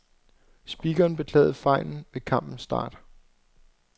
Speakeren beklagede fejlen ved kampens start.